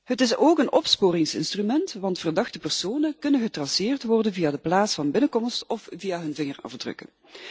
Het is ook een opsporingsinstrument, want verdachte personen kunnen getraceerd worden via de plaats van binnenkomst of via hun vingerafdrukken.